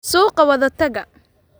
Suuqa wada taga